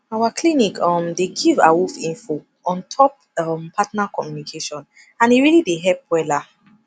our clinic um dey give awoof info ontop um partner communication and e really dey help wella